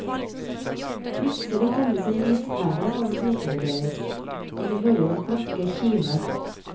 Plutselig tennes en lyspære over hodene deres, og de hører en klokke kime.